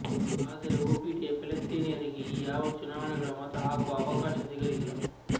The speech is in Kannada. ಆದರೆ ಒಪಿಟಿಯ ಫೆಲೆಸ್ತೀನಿಯರಿಗೆ ಈ ಯಾವ ಚುನಾವಣೆಗಳ ಮತ ಹಾಕುವ ಅವಕಾಶ ಸಿಗಲಿಲ್ಲ